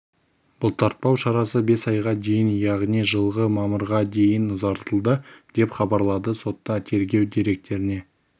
бұлтартпау шарасы бес айға дейін яғни жылғы мамырға дейін ұзартылды деп хабарлады сотта тергеу деректеріне